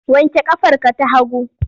Wanke ƙafarka ta hagu!